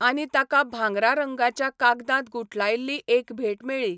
आनी ताका भागरां रंगाच्या कागदांत गुठलायल्ली एक भेट मेळ्ळी.